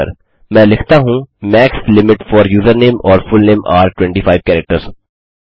मैं लिखता हूँ max limit for username or full name are 25 characters